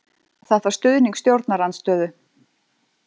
Þarf stuðning stjórnarandstöðu